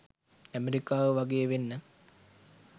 ඇමෙරිකාව වගේ වෙන්න.